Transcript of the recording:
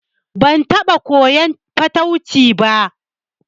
Ban taɓa koyan fatauci ba